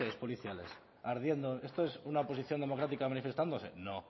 coches policiales ardiendo esto es una oposición democrática manifestándose no